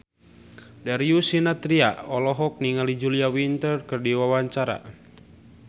Darius Sinathrya olohok ningali Julia Winter keur diwawancara